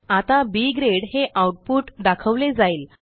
आता B grade हे output दाखवले जाईल